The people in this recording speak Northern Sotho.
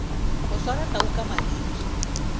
go swara tau ka mariri